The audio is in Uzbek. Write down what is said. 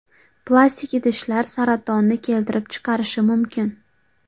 Plastik idishlar saratonni keltirib chiqarishi mumkin.